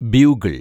bugle‍